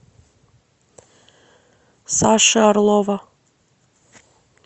саши орлова